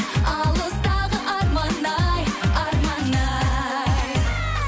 алыстағы арман ай арман ай